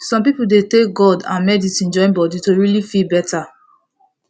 some people dey take god and medicine join body to really feel better